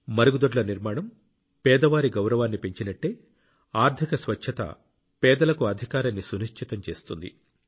మరుగుదొడ్ల నిర్మాణం పేదవారి గౌరవాన్ని పెంచినట్టే ఆర్థిక స్వచ్ఛత పేదలకు అధికారాన్ని సునిశ్చితం చేస్తుంది